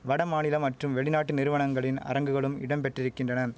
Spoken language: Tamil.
வடமாநிலம் மற்றும் வெளிநாட்டு நிறுவனங்களின் அரங்குகளும் இடம்பெற்றிருக்கின்றன